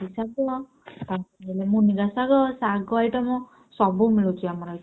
ମୁନିରା ଶାଗ ଶାଗ item ସବୁ ମିଳୁଛି ଆମର~।